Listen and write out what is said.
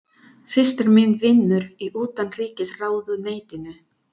Systir mín vinnur í Utanríkisráðuneytinu.